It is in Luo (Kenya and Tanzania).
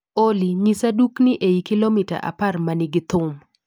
Olly, nyisa dukni eiy kilomita apar manigi thum